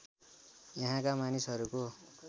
यहाँका मानिसहरूको